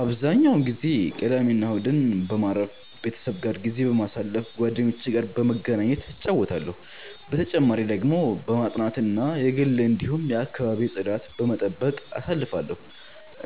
አብዛኛውን ጊዜ ቅዳሜና እሁድን በማረፍ፣ ቤተሰቤ ጋር ጊዜ በማሳለፋ ጓደኞቼ ጋር በመገናኘት እጫወታለሁ። በተጨማሪ ደግሞ በማጥናት እና የግል እንዲሁም የአከባቢ ጽዳት በመጠበቅ አሳልፍለሁ።